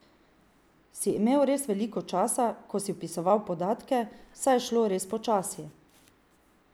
Si imel res veliko časa, ko si vpisoval podatke, saj je šlo res počasi.